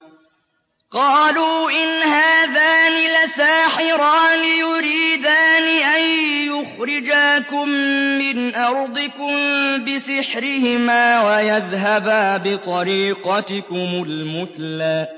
قَالُوا إِنْ هَٰذَانِ لَسَاحِرَانِ يُرِيدَانِ أَن يُخْرِجَاكُم مِّنْ أَرْضِكُم بِسِحْرِهِمَا وَيَذْهَبَا بِطَرِيقَتِكُمُ الْمُثْلَىٰ